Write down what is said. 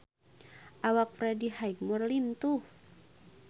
Awak Freddie Highmore lintuh